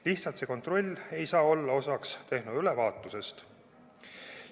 Lihtsalt see kontroll ei saa olla tehnoülevaatuse osa.